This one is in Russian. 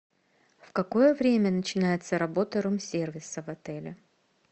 в какое время начинается работа рум сервиса в отеле